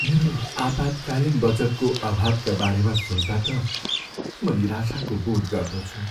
मेरो आपतकालीन बचतको अभावका बारेमा सोच्दा त म निराशाको बोध गर्दछु।